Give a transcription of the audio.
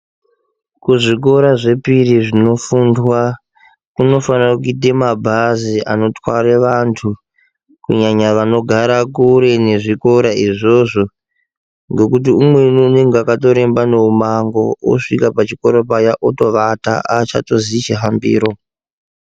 Kuzvikora zvepiri zvinofundwa kunofanira kuita mabhazi anotware vanhu kunyanya vanogara kure nezvikora izvozvo ngekuti umweni unonga akatoremba ngemumango osvika pachikora paya otovata aachatoziyi chihambiro.